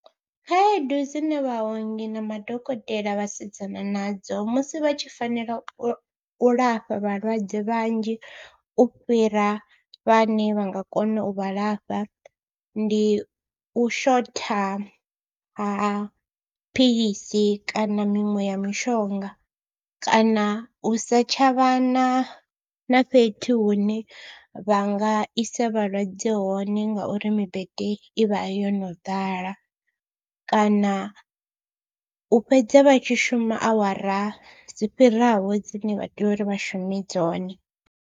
Khaedu dzine vhaongi na madokotela vha sedzana nadzo musi vha tshi fanela u lafha vhalwadze vhanzhi u fhira vhane vha nga kona u vha lafha, ndi u shotha ha philisi kana miṅwe ya mishonga kana u sa tsha vha na na fhethu hune vha nga isa vhalwadze hone ngauri mibete i vha yo no ḓala kana u fhedza vha tshi shuma awara dzi fhiraho dzine vha tea uri vha shume dzone.